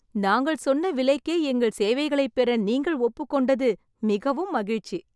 நாங்கள் சொன்ன விலைக்கே எங்கள் சேவைகளை பெற நீங்கள் ஒப்புக்கொண்டது மிகவும் மகிழ்ச்சி.